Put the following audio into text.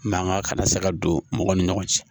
Mankan kana se ka don mɔgɔ ni ɲɔgɔn cɛ